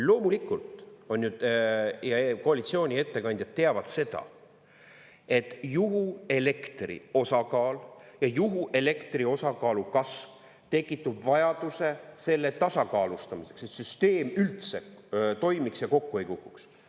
Loomulikult koalitsiooni ettekandjad teavad seda, et juhuelektri osakaal ja juhuelektri osakaalu kasv tekitab vajaduse selle tasakaalustamiseks, et süsteem üldse toimiks ja kokku ei kukuks.